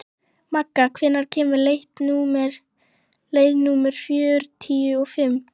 Magga, hvenær kemur leið númer fjörutíu og fimm?